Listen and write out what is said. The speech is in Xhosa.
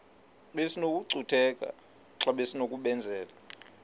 besinokucutheka xa besinokubenzela